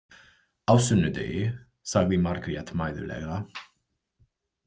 Á sunnudegi, sagði Margrét mæðulega.